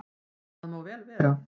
Það má vel vera.